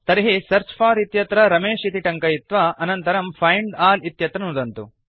तर्हि search for इत्यत्र रमेश इति टङ्कयित्वा अनन्तरम् फाइण्ड अल् इत्यत्र नुदन्तु